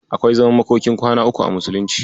Akwai zaman makokin kwana uku a musulunci.